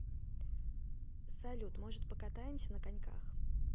салют может покатаемся на коньках